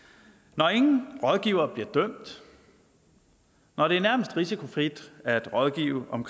når ingen rådgivere bliver dømt når det nærmest er risikofrit at rådgive om